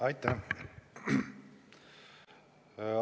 Aitäh!